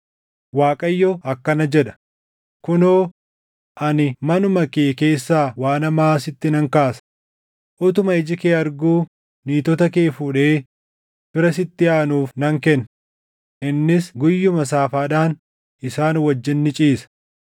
“ Waaqayyo akkana jedha: ‘Kunoo, ani manuma kee keessaa waan hamaa sitti nan kaasa; utuma iji kee arguu niitota kee fuudhee fira sitti aanuuf nan kenna; innis guyyuma saafaadhaan isaan wajjin ni ciisa.